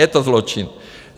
Je to zločin.